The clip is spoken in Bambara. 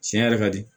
Tiɲɛ yɛrɛ ka di